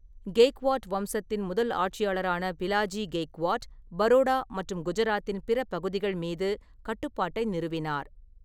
கெய்க்வாட் வம்சத்தின் முதல் ஆட்சியாளரான பிலாஜி கெய்க்வாட், பரோடா மற்றும் குஜராத்தின் பிற பகுதிகள் மீது கட்டுப்பாட்டை நிறுவினார்.